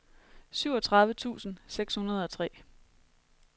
syvogtredive tusind seks hundrede og tre